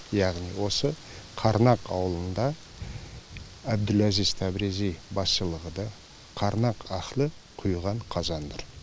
яғни осы қарнақ ауылында әбділәзиз таврези басшылығыда қарнақ ахлы құйған қазан нұр